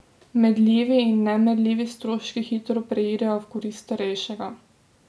Merljivi in nemerljivi stroški hitro preidejo v korist starejšega.